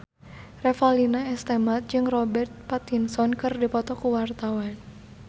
Revalina S. Temat jeung Robert Pattinson keur dipoto ku wartawan